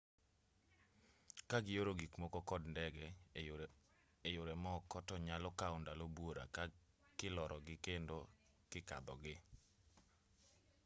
kagioro gikmoko kod ndege eyore moko to nyalo kawo ndalo buora kilorogii kendo kikadhogii